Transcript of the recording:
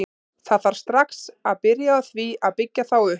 Það þarf strax að byrja á því að byggja þá upp.